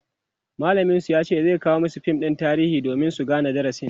mallamin su yace zai kawo masu fim ɗin tarihi domin su Gane darasin